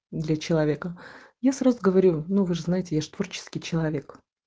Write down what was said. для человека я сразу говорю но вы же знаете я же творческий человек